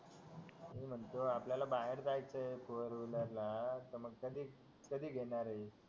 अरे म्हणतो आपल्याला बाहेर जायचंय फोर व्हिलर ला तर मग कधी कधी घेणारे